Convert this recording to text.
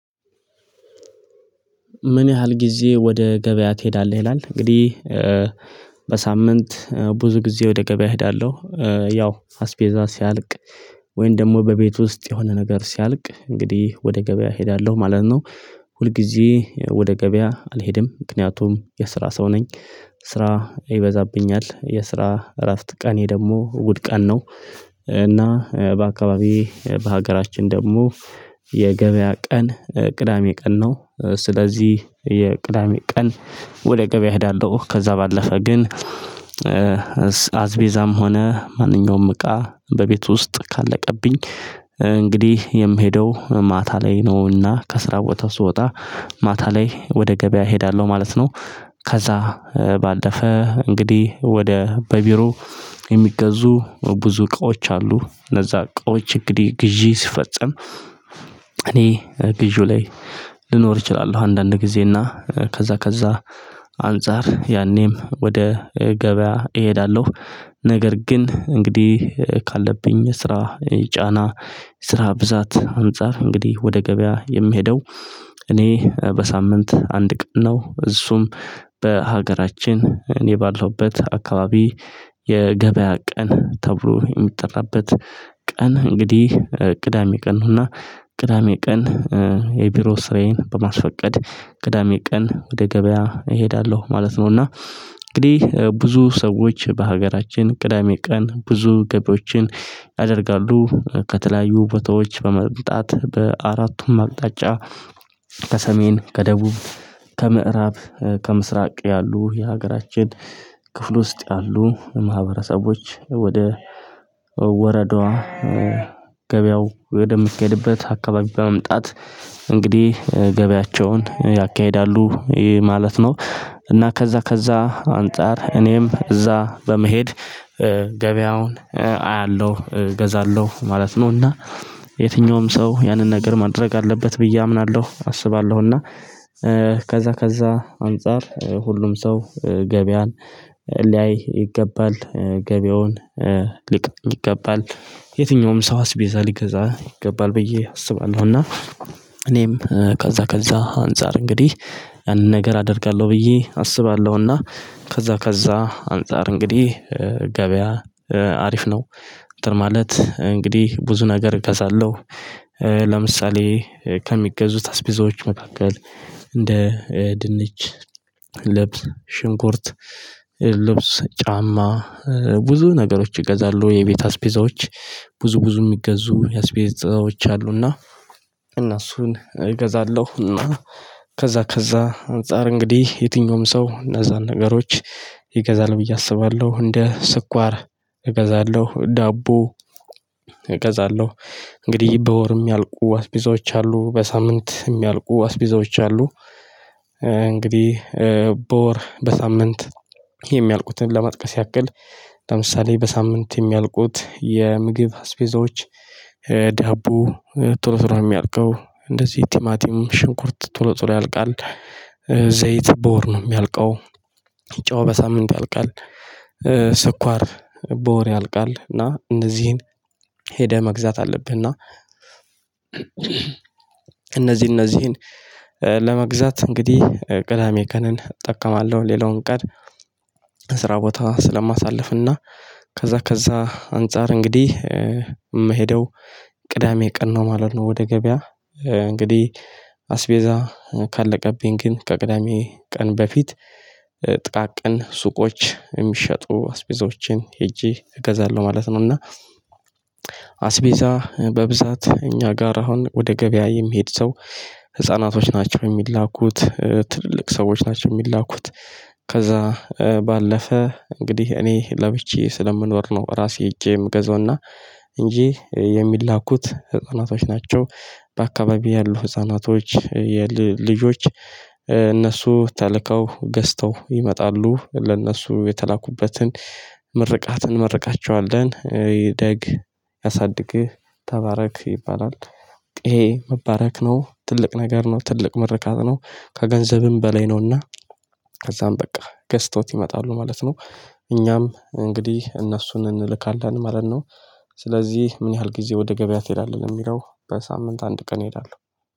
ምን ያህል ጊዜ ወደ ገበያ ትሄዳለህ? ይላል እንግዲህ በሳምንት ብዙ ጊዜ ወደ ገበያ እሄዳለሁ። ያው አስቤዛ ሲያልቅ ወይም ደግሞ በቤት ውስጥ የሆነ ነገር ሲያልቅ እንግዲህ ወደ ገበያ እሄዳለሁ ማለት ነው። ሁልጊዜ ወደ ገበያ አልሄድም ምክንያቱም የስራ ሰው ነኝ። ስራ ይበዛብኛል የስራ እረፍት ቀኔ ደግሞ እሁድ ቀን ነው። እና በአካባቢዬ በሀገራችን ደግሞ የገበያ ቀን ቅዳሜ ቀን ነው። ስለዚህ የቅዳሜ ቀን ወደ ገበያ እሄዳለሁ። ከዛ ባለፈ ግን አስፔዛም ሆነ ማንኛውም እቃ በቤቱ ውስጥ ካለቀብኝ እንግዲህ የምሄደው ማታ ላይ ነውና ከስራ ቦታ ስወጣ ማታ ላይ ወደ ገበያ እሄዳለሁ ማለት ነው። ከዛ ባለፈ እንግዲህ ወደ በቢሮ የሚገዙ ብዙ እቃዎች አሉ እነዛ እቃዎች እንግዲህ ግዢ ሲፈጸም እኔ ግዢው ላይ ልኖር እችላለሁ። አንዳንድ ጊዜ እና ከዛ ከዛ አንፃር ያኔም ወደ ገበያ እሄዳለሁ። ነገር ግን እንግዲህ ካለብኝ ስራ ጫና ስራ ብዛት አንፃር እንግዲህ ወደ ገበያ የምሄደው እኔ በሳምንት አንድ ቀን ነው። እሱም በሀገራችን እኔ ባለሁበት አካባቢ የገበያ ቀን ተብሎ የሚጠራበት ቀን እንግዲህ ቅዳሜ ቀን ነው። እና ቅዳሜ ቀን የቢሮ ስራዬን በማስፈቀድ ቅዳሜ ቀን ወደ ገበያ እሄዳለሁ ማለት ነው። እና እንግዲህ ብዙ ሰዎች በሀገራችን ቅዳሜ ቀን ብዙ ገቢያዎችን ያደርጋሉ ከተለያዩ ቦታዎች በመምጣት በአራቱም አቅጣጫ ከሰሜን ከደቡብ ከምዕራብ ከምስራቅ ያሉ የሀገራችን ክፍል ውስጥ ያሉ ማህበረሰቦች ወደ ወረዳዋ ገበያው ወደሚካሄድበት አካባቢ በመምጣት እንግዲህ ገበያቸውን ያካሂዳሉ። ማለት ነው እና ከዛ ከዛ አንፃር እኔም እዛ በመሄድ ገበያውን አያለሁ እገዛለሁ ማለት ነው። እና የትኛውም ሰው ያንን ነገር ማድረግ አለበት ብዬ አምናለሁ። አስባለሁ እና ከዛ ከዛ አንፃር ሁሉም ሰው ገበያን ሊያይ ይገባል ገበያውን ሊቀበል ይገባል። የትኛውም ሰው አስፔዛ ሊገዛ ይገባል ብዬ አስባለሁ። እና እኔም ከዛ ከዛ አንፃር እንግዲህ ያንን ነገር አደርጋለሁ ብዬ አስባለሁና ከዛ ከዛ አንፃር እንግዲህ ገበያ አሪፍ ነው። አንተን ማለት እንግዲህ ብዙ ነገር እገዛለሁ። ለምሳሌ ከሚገዙት አስፔዛወች መካከል እንደ ድንች ልብስ ሽንኩርት ልብስ ጫማ ብዙ ነገሮች ይገዛሉ የቤት አስፔዛዎች ብዙ ብዙ የሚገዙ አስፔዛዎች አሉና እነሱን እገዛለሁና ከዛ ከዛ አንፃር እንግዲህ የትኛውም ሰው እነዛን ነገሮች ይገዛል ብዬ አስባለሁ እንደ ስኳር እገዛለሁ ዳቦ እገዛለሁ እንግዲህ በወር ሚያልቁ አስፔዛዎች አሉ በሳምንት የሚያልቁ አስፔዛዎች አሉ። እንግዲህ በወር በሳምንት የሚያልቁትን ለመጥቀስ ያክል ለምሳሌ በሳምንት የሚያልቁት የምግብ አስፔዛዎች ዳቦ ቶሎ ቶሎ ነው የሚያልቀው እንደዚህ ቲማቲም ሽንኩርት ቶሎ ቶሎ ያልቃል። ዘይት በወር ነው የሚያልቀው። ጨው በሳምንት ያልቃል። ስኳር በወር ያልቃል። እና እነዚህን ሄደህ መግዛት አለብህ። እና እነዚህ እነዚህን ለመግዛት እንግዲህ ቅዳሜ ቅንን እጠቀማለሁ ሌላውን ቀን ስራ ቦታ ስለማሳልፍና ከዛ ከዛ አንፃር እንግዲህ የምሄደው ቅዳሜ ቀን ነው ማለት ነው። ወደ ገበያ እንግዲህ አስፔዛ ካለቀብኝ ግን ከቅዳሜ ቀን በፊት ጥቃቅን ሱቆች የሚሸጡ አስፔዛወችን ሄጄ እገዛለሁ ማለት ነው። እና አስፔዛ በብዛት እኛ ጋር አሁን ወደ ገበያ የሚሄድ ሰው ህፃናቶች ናቸው የሚላኩት ትልልቅ ሰዎች ናቸው የሚላኩት። ከዛ ባለፈ እንግዲህ እኔ ለብቻየ ስለምኖር ነው ራሴ ሄጄ የምገዛውና እንጂ የሚላኩት ህፃናቶች ናቸው። በአካባቢው ያሉ ህፃናቶች ልጆች እነሱ ተልከው ገዝተው ይመጣሉ። ለእነሱ የተላኩበትን እንመርቃቸዋለን እደግ ያሳድግህ ተባረክ ይባላል። ይሄ መባረክ ነው ትልቅ ነገር ነው ትልቅ ምርቃት ነው። ከገንዘብም በላይ ነውና ከዛም በቃ ገዝተውት ይመጣሉ ማለት ነው። እኛም እንግዲህ እነሱን እንልካለን ማለት ነው። ስለዚህ ምን ያህል ጊዜ ወደ ገበያ ትሄዳለህ? ለሚለው በሳምንት አንድ ቀን እሄዳለሁ።